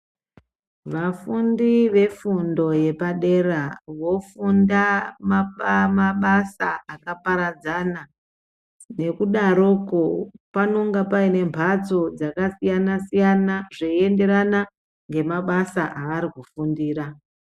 Afundi vefundo yepadera vofunda maba mabasa akaparadzana. Nekudaroko paanenge paine mphatso dzakasiyana-siyana, zveienderana ngemabasa avari kufundira